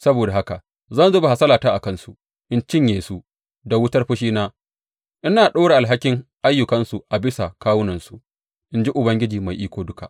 Saboda haka zan zuba hasalata a kansu in cinye su da wutar fushina, ina ɗora alhakin ayyukansu a bisa kawunansu, in ji Ubangiji Mai Iko Duka.